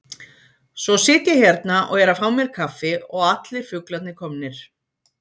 Svo sit ég hérna og er að fá mér kaffi og allir fuglarnir komnir.